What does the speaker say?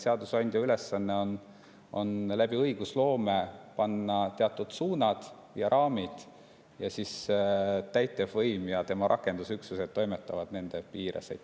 Seadusandja ülesanne on õigusloome kaudu panna teatud suunad ja raamid ning siis täitevvõim ja tema rakendusüksused toimetavad nende piires.